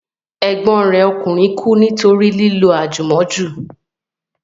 Ẹ̀gbọ́n rẹ̀ ọkùnrin kú nítorí lílo àjùmọ́jù